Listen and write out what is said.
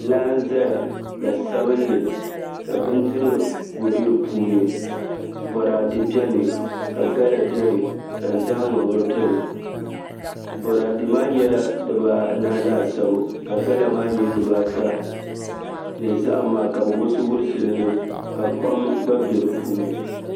Laa n ʒɛya la sabinli ka bindirigu bɛ di puuni boraadɛ bɛni ka gala gba bɛni ka zahama bɛni boraadɛ maa nyɛla dibaanahi laasabu ka gala maa nyɛ dibaa ata ni zaham maa ka bi wurisi wurisi li niŋ ka kpam gba bɛ di puuni